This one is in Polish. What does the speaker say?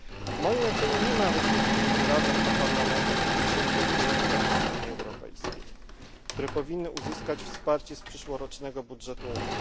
W mojej ocenie nie ma różnic pomiędzy Radą a Parlamentem w odniesieniu do priorytetów Unii Europejskiej, które powinny uzyskać wsparcie z przyszłorocznego budżetu Unii.